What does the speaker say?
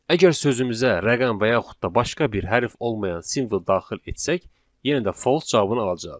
Əgər sözümüzə rəqəm və yaxud da başqa bir hərf olmayan simvol daxil etsək, yenə də false cavabını alacağıq.